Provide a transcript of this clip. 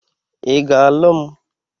I ga-alu m?